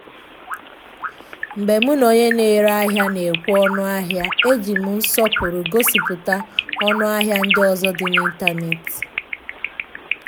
mgbe m na onye na ere ahia na ekwe onu ahia e ji m nsọpụrụ gosipụta ọnụahịa ndị ọzọ dị n’ịntanetị.